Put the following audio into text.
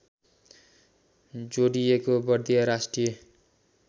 जोडीएको बर्दिया राष्ट्रिय